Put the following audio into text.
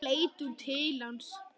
Þá leit hún til hans.